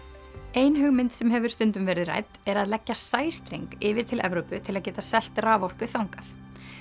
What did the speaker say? ein hugmynd sem hefur stundum verið rædd er að leggja sæstreng yfir til Evrópu til að geta selt raforku þangað